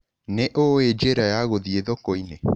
Nĩ ũĩ njĩra ya gũthiĩ thoko-inĩ?